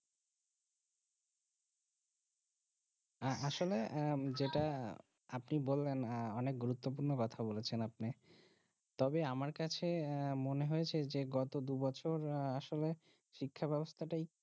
আসলে আহ যেটা আপনি বললেন আহ অনেক গুরুত্বপূর্ণ কথা বলেছেন আপনি তবে আমার কাছে আহ মনে হয়েছে গত দুই বছর আসলে শিক্ষা বেবস্থা